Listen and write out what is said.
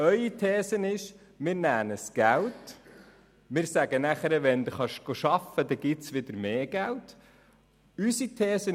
Ihre These ist, den Leuten Geld wegzunehmen und ihnen zu sagen, es gebe wieder mehr Geld, sobald sie arbeiten.